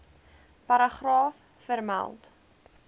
paragraaf vermeld